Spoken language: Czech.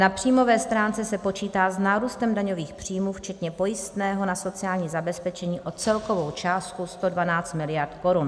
Na příjmové stránce se počítá s nárůstem daňových příjmů včetně pojistného na sociální zabezpečení o celkovou částku 112 miliard korun.